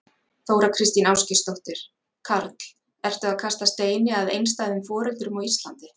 Þóra Kristín Ásgeirsdóttir: Karl, ertu að kasta steini að einstæðum foreldrum á Íslandi?